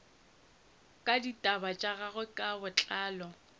ditaba tša gagwe ka botlalo